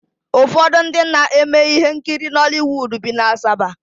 Ụfọdụ ndị na-eme ihe nkiri Nọliwuudu bi na Asaba